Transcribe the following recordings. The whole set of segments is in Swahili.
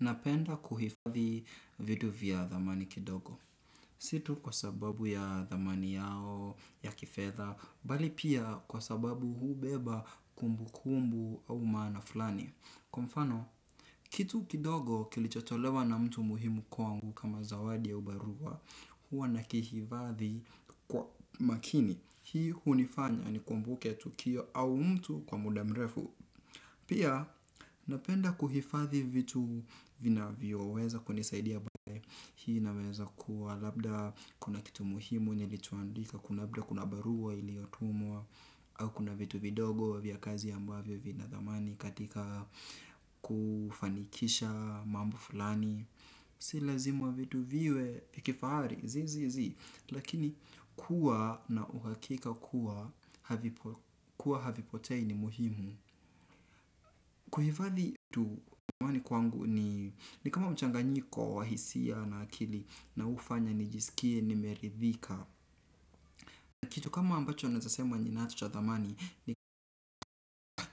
Napenda kuhifadhi vitu vya thamani kidogo. Si tu kwa sababu ya thamani yao, ya kifedha, bali pia kwa sababu hubeba kumbukumbu au maana flani. Kwa mfano, kitu kidogo kilichotolewa na mtu muhimu kwangu kama zawadi au barua, huwa nakihifadhi kwa makini. Hii hunifanya nikumbuke tukio au mtu kwa muda mrefu. Pia napenda kuhifadhi vitu vinavyoweza kunisaidia baadae, hii inaweza kuwa labda kuna kitu muhimu nilichoandika, kuna labda kuna barua iliotumwa, au kuna vitu vidogo vya kazi ambavyo vina thamani katika kufanikisha mambo fulani. Si lazima vitu viwe vya kifahari, zii zii zii. Lakini kuwa na uhakika kuwa havipo kuwa havipotei ni muhimu. Kuhifadhi tu kwani kwangu ni kama mchanganyiko wa hisia na akili na huwa inafanya nijiskie nimeridhika kitu kama ninachosema ninacho cha thamani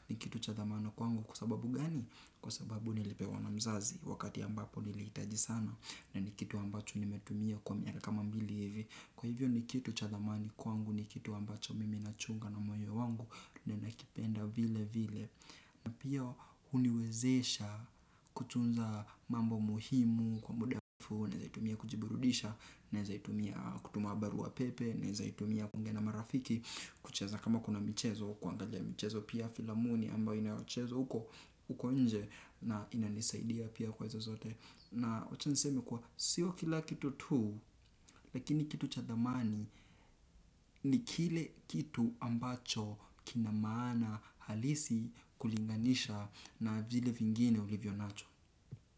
ni kitu cha thamana kwangu kwa sababu gani kwa sababu nilipewa na mzazi wakati ambabo nilihitaji sana na kitu ambacho nimetumia kwa miaka kama mbili hivi kwaivo ni kitu cha thamani kwangu ni kitu ambacho naichunga na moyo wangu na nakipenda vile vile na pia huniwezesha kutunza mambo muhimu kwa muda alafu, naezaitumia kujiburudisha, naezaitumia kutuma barua pepe, naezaitumia kuongea na marafiki, kucheza kama kuna michezo, kuangalia michezo pia filamuni ambayo inayochezwa huko, huko nje na inanisaidia pia kwa izo zote. Na wacha niseme kuwa sio kila kitu tu, lakini kitu cha thamani ni kile kitu ambacho kina maana halisi kulinganisha na vile vingine ulivyonacho.